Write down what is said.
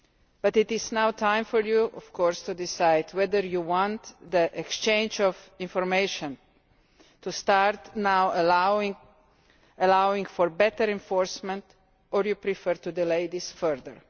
But it is now time for you to decide whether you want the exchange of information to start now allowing for better enforcement or if you prefer to delay this further.